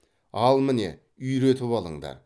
ал міне үйретіп алыңдар